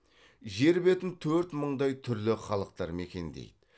жер бетін төрт мыңдай түрлі халықтар мекендейді